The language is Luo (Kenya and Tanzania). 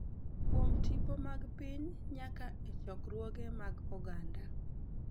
Kuom tipo mag piny nyaka e chokruoge mag oganda